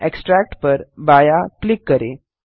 extract पर बायाँ click करें